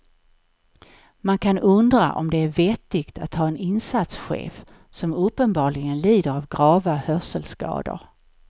Man kan undra om det är vettigt att ha en insatschef som uppenbarligen lider av grava hörselskador.